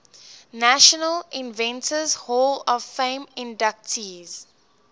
national inventors hall of fame inductees